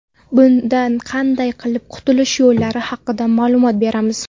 Bundan qanday qilib qutulish yo‘llari haqida ma’lumot beramiz.